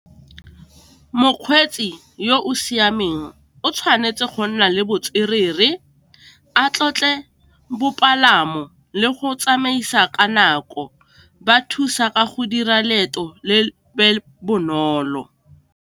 Mokgweetsi yo o siameng o tshwanetse go nna le botswerere, a tlotle bopalamo, le go tsamaisa ka nako ba thusa ka go dira leeto bonolo.